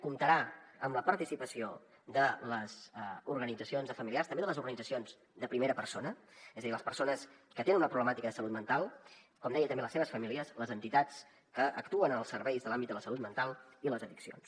comptarà amb la participació de les organitzacions de familiars també de les organitzacions de primera persona és a dir les persones que tenen una problemàtica de salut mental com deia també les seves famílies les entitats que actuen en els serveis de l’àmbit de la salut mental i les addiccions